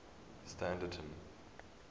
standerton